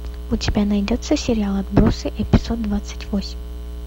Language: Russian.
у тебя найдется сериал отбросы эпизод двадцать восемь